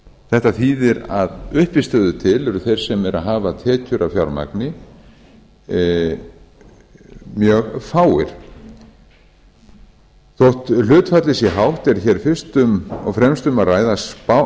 þetta þýðir að að uppistöðu til eru þeir sem eru að hafa tekjur af fjármagni mjög fáir þótt hlutfallið sé hátt er hér fyrst og fremst um að ræða